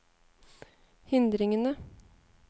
hindringene